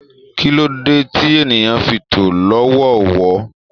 Kí ló dé tí ènìyàn fi tó lọ́wọọ̀wọ́?